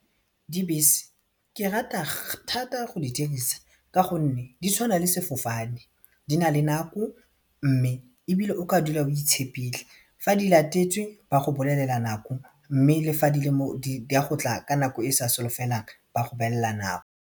Dibese ke rata thata go di dirisa ka gonne di tshwana le sefofane di na le nako mme ebile o ka dula o itshepile fa di latetswe ba go bolelela nako mme le fa di a gotla ka nako e sa solofelang ba go beela nako.